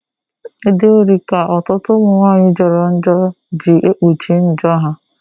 Ide uri ka ọtụtụ umunwaanyi joro njo gị ekpuchi njo ha.